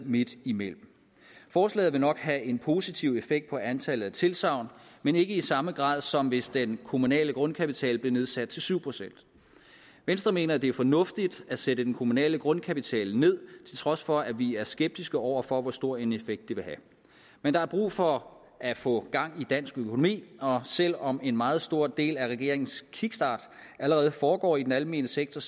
midt imellem forslaget vil nok have en positiv effekt på antallet af tilsagn men ikke i samme grad som hvis den kommunale grundkapital blev nedsat til syv procent venstre mener at det er fornuftigt at sætte den kommunale grundkapital ned til trods for at vi er skeptiske over for hvor stor en effekt det vil have men der er brug for at få gang i dansk økonomi og selv om en meget stor del af regeringens kickstart allerede foregår i den almene sektor